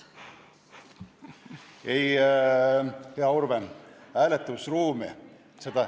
Ei, hea Urve, hääletusruumi ...